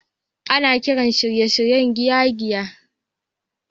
Ana kiran shirye-shiryen giyan giya